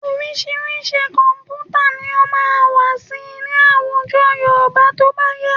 Oríṣiríṣi kọ̀m̀pútà ni ó máa wà síi ní àwùjọ Yorùbá tó bá yá